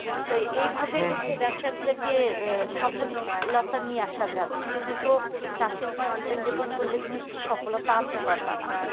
তাই এইভাবে ব্যবসা গুলোকে সফলতা নিয়ে আসা যাবে শুধু তো চাষের উপর dependable করলে তো হবে না সফলতা আনতে পারবা না